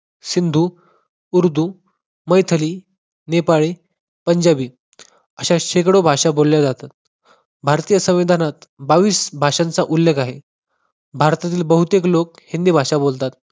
सिंधू, उर्दू, मैथली, नेपाळी, पंजाबी अशा शेकडो भाषा बोलल्या जातात. भारतीय संविधानात बावीस भाषांचा उल्लेख आहे. भारतातील बहुतेक लोक हिंदी भाषा बोलतात.